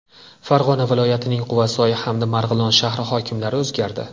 Farg‘ona viloyatining Quvasoy hamda Marg‘ilon shahri hokimlari o‘zgardi.